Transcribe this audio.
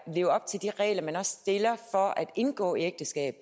leve op til de regler man også stiller for at indgå ægteskab